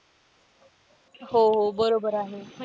हो हो बरोबर आहे.